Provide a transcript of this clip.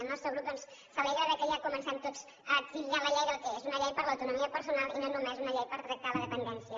el nostre grup doncs s’alegra que ja comencem tots a titllar la llei del que és una llei per a l’autonomia personal i no només una llei per tractar la dependència